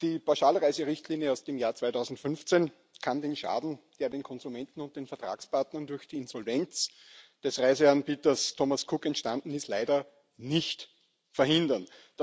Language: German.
Die Pauschalreiserichtlinie aus dem Jahr 2015 kann den Schaden, der den Konsumenten und den Vertragspartnern durch die Insolvenz des Reiseanbieters Thomas Cook entstanden ist, leider nicht verhindern.